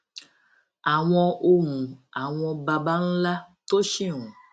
àwọn ohùn àwọn baba ńlá tó ṣì ń